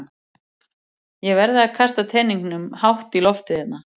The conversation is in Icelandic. Ég verð að kasta teningnum hátt í loftið hérna.